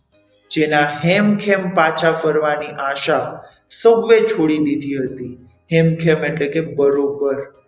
જેના હેમખેમ પાછા ફરવાની આશા સૌએ છોડી દીધી હતી હેમખેમ એટલે કે બરોબર.